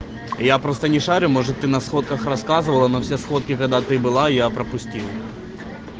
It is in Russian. я просто не шарю может ты на сходках рассказывала но все сходки когда ты была я пропустил